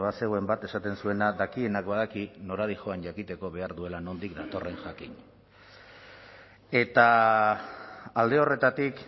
bazegoen bat esaten zuena dakienak badaki nora dihoan jakiteko behar duela nondik datorren jakin eta alde horretatik